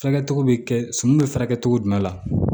Fɛɛrɛ cogo bɛ kɛ sun bɛ furakɛ cogo jumɛn la